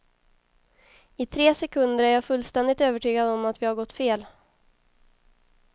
I tre sekunder är jag fullständigt övertygad om att vi har gått fel.